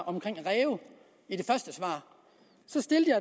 om ræve så stiller